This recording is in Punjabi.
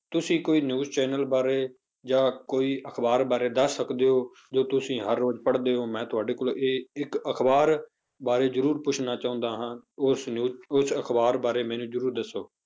ਤੁਸੀਂ ਕੋਈ news channel ਬਾਰੇ ਜਾਂ ਕੋਈ ਅਖ਼ਬਾਰ ਬਾਰੇ ਦੱਸ ਸਕਦੇ ਹੋ ਜੋ ਤੁਸੀਂ ਹਰ ਰੋਜ਼ ਪੜ੍ਹਦੇ ਹੋ ਮੈਂ ਤੁਹਾਡੀ ਕੋਲ ਇਹ ਇੱਕ ਅਖ਼ਬਾਰ ਬਾਰੇ ਜ਼ਰੂਰ ਪੁੱਛਣਾ ਚਾਹੁੰਦਾ ਹਾਂ ਉਸ news ਉਸ ਅਖ਼ਬਾਰ ਬਾਰੇ ਮੈਨੂੰ ਜ਼ਰੂਰ ਦੱਸੋ।